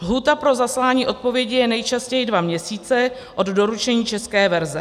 Lhůta pro zaslání odpovědi je nejčastěji dva měsíce od doručení české verze.